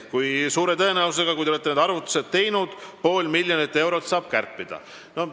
Jah, suure tõenäosusega, kui te olete need arvutused teinud, saab pool miljonit eurot tõesti kärpida.